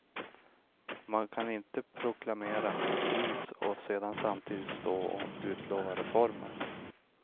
Man kan inte proklamera kris och sedan samtidigt stå och utlova reformer.